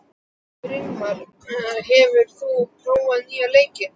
Brynmar, hefur þú prófað nýja leikinn?